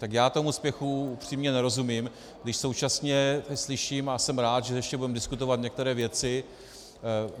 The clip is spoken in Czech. Tak já tomu spěchu upřímně nerozumím, když současně slyším, a jsem rád, že ještě budeme diskutovat některé věci.